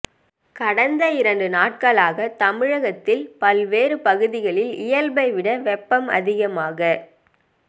கடந்த இரண்டு நாட்களாக தமிழகத்தில் பல்வேறு பகுதிகளில் இயல்பை விட வெப்பம் அதிகமாக